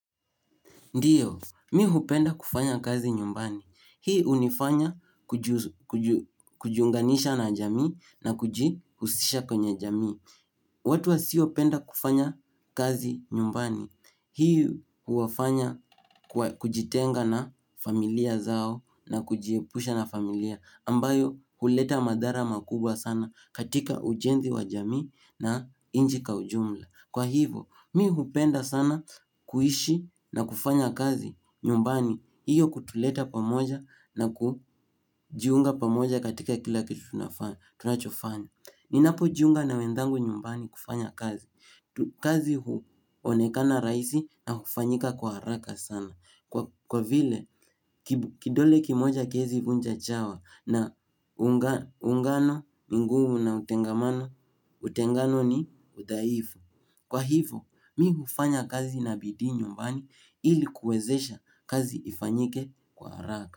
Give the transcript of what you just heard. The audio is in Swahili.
Ndiyo, mi hupenda kufanya kazi nyumbani. Hii hunifanya kujiunganisha na jamii na kujihusisha kwenye jamii. Watu wasiopenda kufanya kazi nyumbani. Hii huwafanya kujitenga na familia zao na kujiepusha na familia ambayo huleta madhara makubwa sana katika ujenzi wa jamii na inchi kwa ujumla. Kwa hivo, mi hupenda sana kuishi na kufanya kazi nyumbani. Hiyo kutuleta pamoja na kujiunga pamoja katika kila kitu tunachofanya Ninapo jiunga na wenzangu nyumbani kufanya kazi kazi huonekana rahisi na hufanyika kwa haraka sana. Kwa vile, kidole kimoja hakiwezi vunja chawa na uungano, ni ngmu na utengamano, utengano ni udhaifu. Kwa hivo, mi hufanya kazi na bidii nyumbani ili kuwezesha kazi ifanyike kwa haraka.